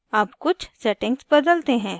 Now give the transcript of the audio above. अब कुछ settings बदलते हैं